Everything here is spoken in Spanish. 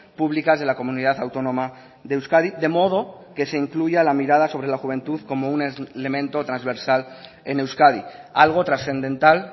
públicas de la comunidad autónoma de euskadi de modo que se incluya la mirada sobre la juventud como un elemento transversal en euskadi algo trascendental